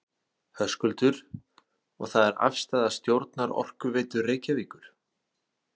Höskuldur: Og það er afstaða stjórnar Orkuveitu Reykjavíkur?